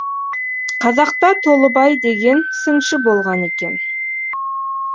қазақта толыбай деген сыншы болған екен